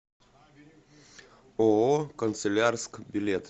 ооо канцелярск билет